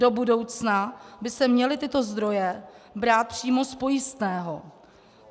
Do budoucna by se měly tyto zdroje brát přímo z pojistného.